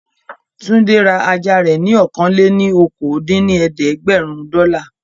Túndé ra ajá rẹ̀ ní ọ̀kan-lé-ní-okòó dín ní ẹ̀ẹ́dẹ́gbẹ́rún dọ́là